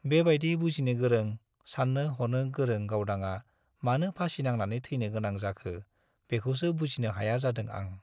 बे बाइदि बुजिनो गोरों, सान्नो हनो गोरों गावदांआ मानो फासि नांनानै थैनो गोनां जाखो-बेखौसो बुजिनो हाया जादों आं।